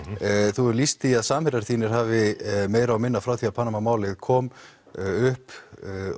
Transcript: þú hefur lýst því að samherjar þínir hafi meira og minna frá því að Panama málið kom upp